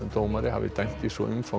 umfangsmiklu máli